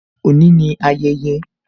Òní ni ayẹyẹ